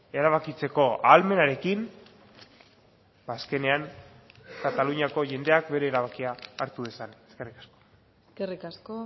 erabakitzeko ahalmenarekin azkenean kataluniako jendeak bere erabakia hartu dezan eskerrik asko eskerrik asko